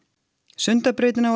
Sundabrautin á